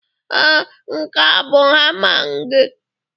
Ee, nke a bụ hamma gị.